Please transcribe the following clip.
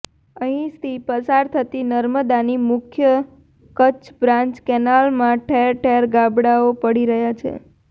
અહીંથી પસાર થતી નર્મદાની મુખ્ય કચ્છ બ્રાન્ચ કેનાલમાં ઠેર ઠેર ગાબડાઓ પડી રહ્યાં છે